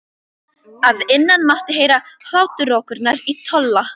Að innan mátti heyra hláturrokurnar í Tolla.